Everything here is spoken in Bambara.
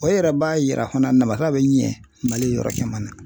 O yɛrɛ b'a yira fana namasa bɛ ɲɛ Mali yɔrɔ caman na .